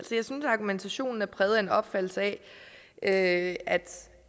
argumentationen er præget af en opfattelse af at